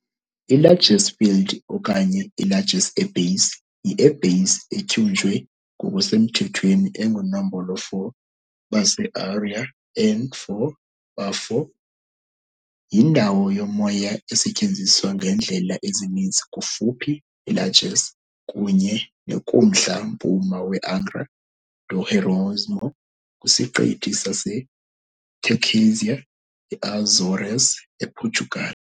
I-Lajes Field okanye i-Lajes Air Base, i-Air Base etyunjwe ngokusemthethweni enguNombolo 4 "Base Aérea N 4", BA4, yindawo yomoya esetyenziswa ngeendlela ezininzi kufuphi neLajes kunye ne kumntla-mpuma weAngra do Heroísmo kwiSiqithi saseTerceira eAzores, ePortugal.